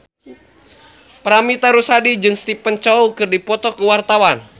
Paramitha Rusady jeung Stephen Chow keur dipoto ku wartawan